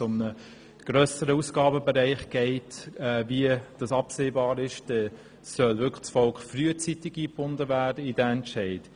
Wenn es um eine grössere Ausgabe geht, wie hier abzusehen ist, dann soll das Volk wirklich frühzeitig in diesen Entscheid eingebunden werden.